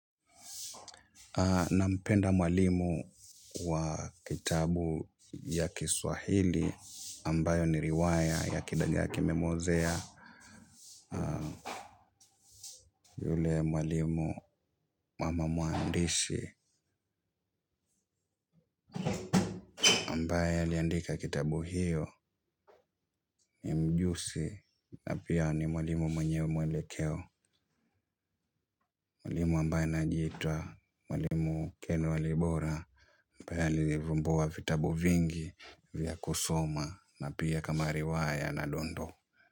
Nampenda mwalimu wa kitabu ya Kiswahili ambayo ni riwaya ya kidagaa kimemuozea mwalimu mama muandishi ambaye aliandika kitabu hiyo ni mjuzi na pia ni mwalimu mwenyewe mwelekeo mwalimu ambaye anajiita mwalimu ken walibora ambaye alivumbua vitabu vingi vya kusoma na pia kama riwaya na dondo.